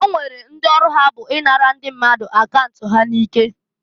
O nwere ndị ọrụ ha bụ i nara ndi mmadụ akaunt ha n'ike.